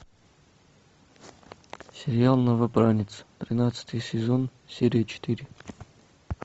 сериал новобранец тринадцатый сезон серия четыре